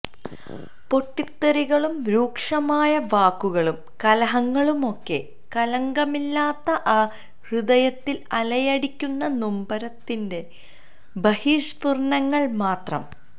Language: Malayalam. പൊട്ടിത്തെറികളും രൂക്ഷമായ വാക്കുകളും കലഹങ്ങളുമൊക്കെ കളങ്കമില്ലാത്ത ആ ഹൃദയത്തിൽ അലയടിക്കുന്ന നൊമ്പരത്തിന്റെ ബഹിർസ്ഫുരണങ്ങൾ മാത്രം